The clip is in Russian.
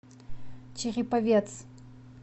череповец